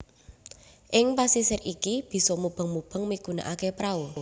Ing pasisir iki bisa mubeng mubeng migunakaké prau